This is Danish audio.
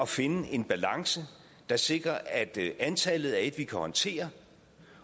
finde en balance der sikrer at antallet er et vi kan håndtere